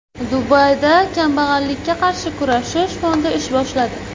Dubayda kambag‘allikka qarshi kurashish fondi ish boshladi.